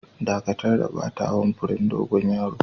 Dakatar da batawa'n furen dogon yaron!